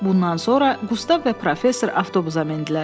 Bundan sonra Qustav və professor avtobusa mindilər.